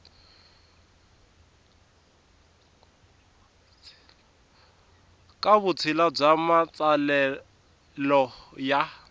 ka vutshila bya matsalelo ya